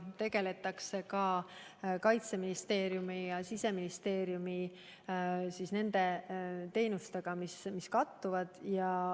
Tegeletakse ka selliste Kaitseministeeriumi ja Siseministeeriumi teenustega, mis kattuvad.